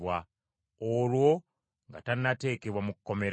olwo nga tannateekebwa mu kkomera.